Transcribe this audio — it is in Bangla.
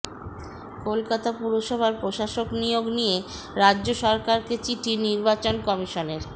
কলকাতা পুরসভার প্রশাসক নিয়োগ নিয়ে রাজ্য সরকারকে চিঠি নির্বাচন কমিশনের